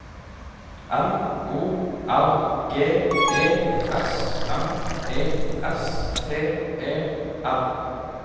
N O R G E S M E S T E R